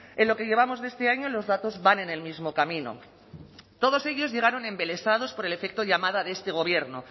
en lo que llevamos de este año los datos van en el mismo camino todos ellos llegaron embelesados por el efecto llamada de este gobierno